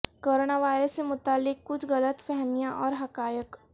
corona virus سے متعلق کچھ غلط فہمیاں اور حقائق